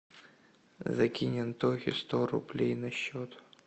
закинь антохе сто рублей на счет